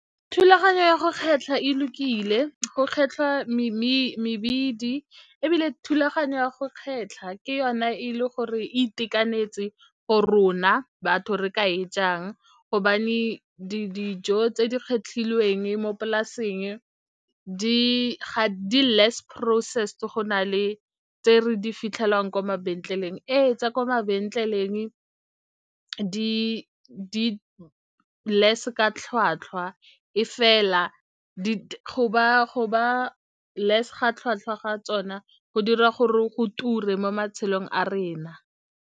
Thulaganyo ya go kgetlha e lokile go kgetlhwa mebidi, ebile thulaganyo ya go kgetlha ke yona e le gore itekanetse go rona batho re ka e jang gobane dijo tse di kgetlhilweng mo polaseng di less processed go na le tse re di fitlhelwang kwa mabenkeleng. Ee tsa kwa mabenkeleng di less ka tlhwatlhwa e fela go ba less ga tlhwatlhwa ga tsona go dira gore go ture mo matshelong a rena.